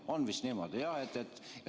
On vist niimoodi, jah?